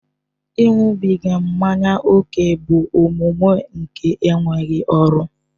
Ịṅụbiga mmanya ókè bụ omume nke enweghị ọrụ